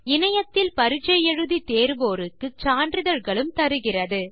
இணையத்தில் பரிட்சை எழுதி தேர்வோருக்கு சான்றிதழ்களும் தருகிறது